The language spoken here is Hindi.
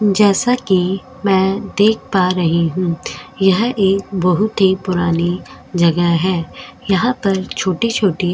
जैसा कि मैं देख पा रही हूं यह एक बहुत ही पुरानी जगह है यहां पर छोटी-छोटी --